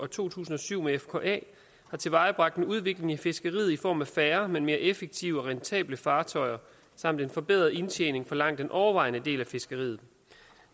to tusind og syv med fka har tilvejebragt en udvikling i fiskeriet i form af færre men mere effektive og rentable fartøjer samt en forbedret indtjening for langt den overvejende del af fiskeriet